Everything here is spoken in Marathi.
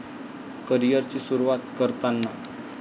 करीअरची सुरुवात करताना.